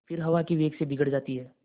फिर हवा के वेग से बिगड़ जाती हैं